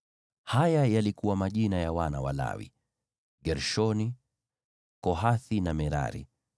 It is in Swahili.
Haya yalikuwa majina ya wana wa Lawi: Gershoni, Kohathi na Merari.